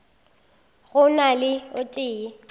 go na le o tee